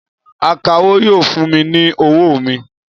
Akawó yóò fún mi ní owó mi